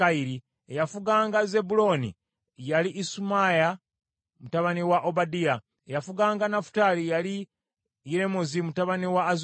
eyafuganga Zebbulooni yali Isumaaya mutabani wa Obadiya; eyafuganga Nafutaali yali Yeremozi mutabani wa Azulyeri;